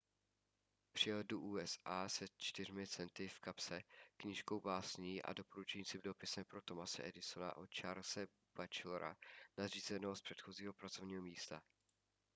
přijel do usa se 4 centy v kapse knížkou básní a doporučujícím dopisem pro thomase edisona od charlese batchelora nadřízeného z předchozího pracovního místa